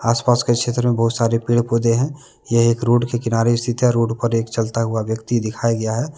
आस- पास के क्षेत्र में बहुत सारे पेड़- पौधें है यह एक रोड के किनारे स्थित है रोड पर एक चलता हुआ व्यक्ति दिखाया गया है।